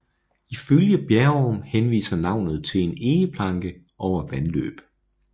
Ifølge Bjerrum henviser navnet til en egeplanke over vandløb